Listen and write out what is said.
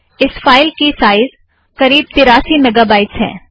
इस फ़ाइल की साइज़ करीब तिरासी मेगा बाइट्स है